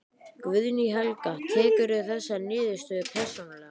Guðný Helga: Tekurðu þessa niðurstöðu persónulega?